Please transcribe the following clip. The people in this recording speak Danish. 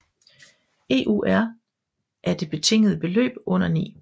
EUR af det betingede beløb under 9